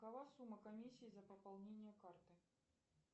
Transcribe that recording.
какова сумма комиссии за пополнение карты